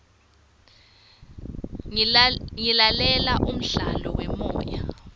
ngilalela umdlalo wemoya